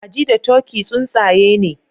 Kaji da turkey tsuntsaye ne